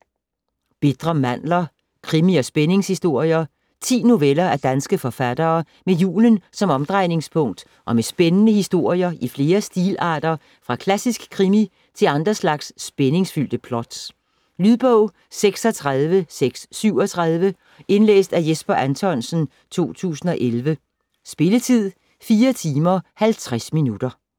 Bitre mandler: krimi- og spændingshistorier 10 noveller af danske forfattere med julen som omdrejningspunkt og med spændende historier i flere stilarter fra klassisk krimi til andre slags spændingsfyldte plots. Lydbog 36637 Indlæst af Jesper Anthonsen, 2011. Spilletid: 4 timer, 50 minutter.